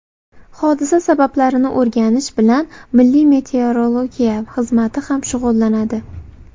Hodisa sabablarini o‘rganish bilan Milliy meteorologiya xizmati ham shug‘ullanadi.